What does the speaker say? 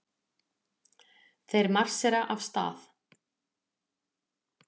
Þeir marsera af stað.